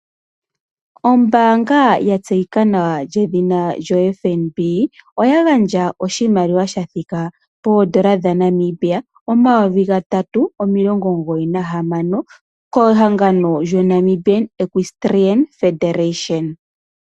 Ombaanga ya tseyika nawa yedhina FNB, oya gandja oshimaliwa sha thika poondola dha Namibia omayovi omathele gatatu omilongo omugoyi na hamano kehangano lyo Namibian Equestrian Federation.